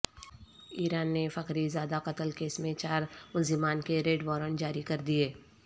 ایران نے Fakhrizadeh قتل case میں چار ملزمان کے ریڈ وارنٹ جاری کر دیے